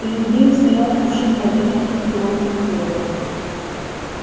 перед нею стоял кувшин воды накрытый ломтем хлеба